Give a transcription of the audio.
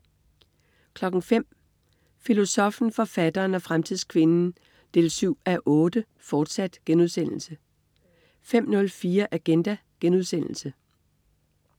05.00 Filosoffen, forfatteren og fremtidskvinden 7:8, fortsat* 05.04 Agenda*